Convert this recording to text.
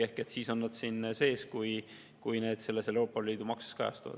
Ehk need on siin sees, kui need Euroopa Liidu makses kajastuvad.